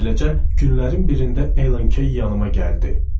Beləcə, günlərin birində Ellen Key yanııma gəldi.